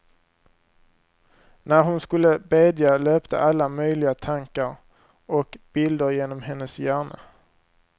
När hon skulle bedja löpte alla möjliga tankar och bilder genom hennes hjärna.